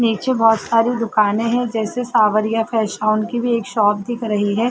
नीचे बहोत सारी दुकाने हैं। जैसे सावरियां फैशन हाउस कि भी एक शॉप दिख रही है।